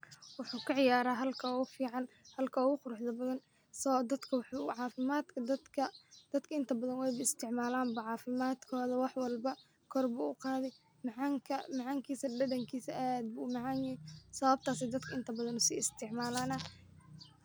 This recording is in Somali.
Wuxuu kaciyaara halka ogu fican halka ogu quruxda badan so dadka wuxuu cafimaadka dadka, dadka inta badan wayba isticmaalan, cafimaadkoda wax walba kor bu uqaadi, macaankisa, dhadhankisa aad bu umacaan yehe sababtas ay dadka inta badan usi isticmaalana